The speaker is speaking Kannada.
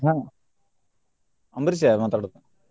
ಆಹ್ ಅಂಬರೀಷ ರಿ ಮಾತಾಡೋದು.